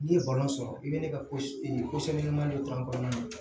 N'i ye sɔrɔ i bɛ ne ka ko ko sɛbɛman de k'an kɔnɔna na